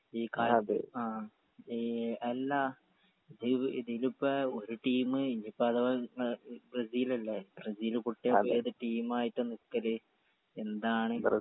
ഈ കാ ആ ഈ എല്ലാ ഇ ഇതിലിപ്പോ ഒര് ടീം ഇനീപ്പോ അഥവാ കിട്ട്ണ ഈ ബ്രസിലല്ലേ ബ്രസീൽ പൊട്ടിയ ഇപ്പൊ ഏത് ട്ടീമായിട്ടാ നിക്കൽ എന്താണ്